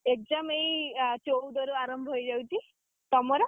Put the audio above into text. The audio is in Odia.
exam ଏଇ ଆ ଚଉଦ ରୁ ଆରମ୍ଭ ହେଇଯାଉଛି। ତମର?